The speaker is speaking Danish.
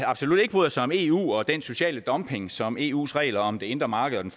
absolut ikke bryder sig om eu og den sociale dumping som eus regler om det indre marked og den